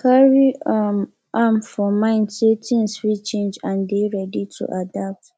carry um am for mind sey things fit change and dey ready to adapt